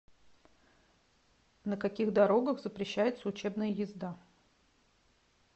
на каких дорогах запрещается учебная езда